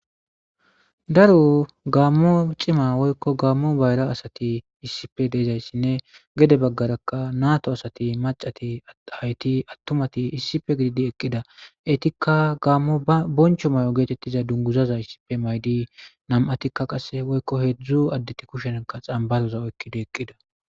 Daro Gamo cima woyikko Gamo bayira asat issippe deizayisanne gede bagarakka nato asati macat ayet atumat issippe gididi eqida eyitikka Gamo ba bonichcho mayo getetiza duniguzaza issippe mayid namatikka qase woyikko hezdzdu adet kushezanikka xamibbaro oyikkidi eqida